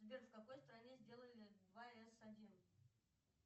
сбер в какой стране сделали два эс один